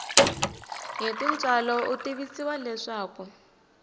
hi tintswalo u tivisiwa leswaku